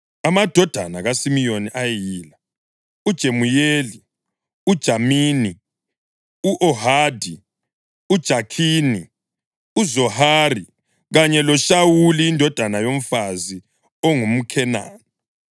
Amadodana kaSimiyoni ayeyila: uJemuyeli, uJamini, u-Ohadi, uJakhini, uZohari kanye loShawuli indodana yomfazi ongumKhenani.